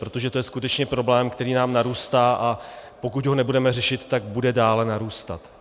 Protože to je skutečně problém, který nám narůstá, a pokud ho nebudeme řešit, tak bude dále narůstat.